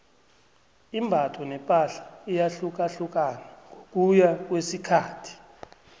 imbatho nepahla iyahlukahlukana ngokuya ngokwesikhathi